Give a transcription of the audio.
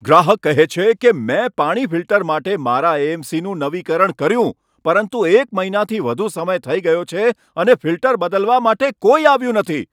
ગ્રાહક કહે છે કે, મેં પાણી ફિલ્ટર માટે મારા એ.એમ.સી. નું નવીકરણ કર્યું પરંતુ એક મહિનાથી વધુ સમય થઈ ગયો છે અને ફિલ્ટર બદલવા માટે કોઈ આવ્યું નથી.